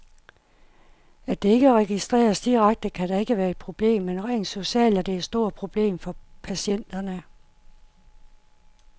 At det ikke registreres direkte, kan da ikke være et problem, men rent socialt er det et stort problem for patienterne.